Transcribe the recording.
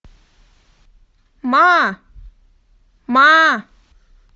ма ма